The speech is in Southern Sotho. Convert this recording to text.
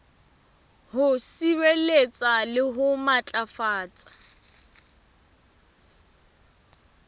ho sireletsa le ho matlafatsa